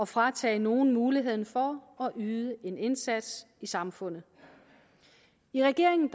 fratage nogen muligheden for at yde en indsats i samfundet i regeringen